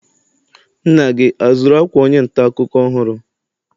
Nna gị azụrụ akwa onye nta akụkọ ọhụrụ?